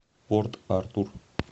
порт артур